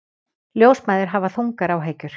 Ljósmæður hafa þungar áhyggjur